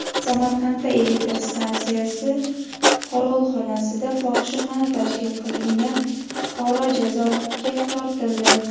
Samarqandda elektr stansiya qorovulxonasida fohishaxona tashkil qilgan fuqaro jazoga tortildi.